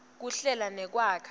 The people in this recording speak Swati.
kuhlela nekwakha